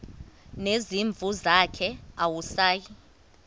nezimvu zakhe awusayi